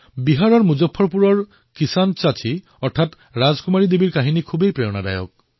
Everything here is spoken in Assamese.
বিহাৰৰ মুজাফ্ফৰপুৰৰ কিসান চাচী অৰ্থাৎ ৰাজকুমাৰী দেৱীৰ কাহিনীও যথেষ্ট প্ৰেৰণাদায়ক